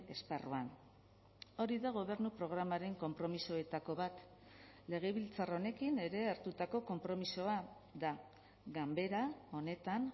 esparruan hori da gobernu programaren konpromisoetako bat legebiltzar honekin ere hartutako konpromisoa da ganbera honetan